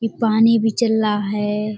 इ पानी भी चल रहा है।